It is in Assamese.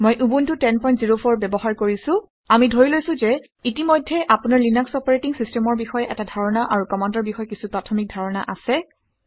মই উবুণ্টু 1004 ব্যৱহাৰ কৰিছোঁ। আমি ধৰি লৈছোঁ যে ইতিমধ্যে আপোনাৰ লিনাক্স অপাৰেটিং চিছটেমৰ বিষয়ে এটা ধাৰণা আৰু কামাণ্ডৰ বিষয়ে কিছু প্ৰাথমিক ধাৰণা আছে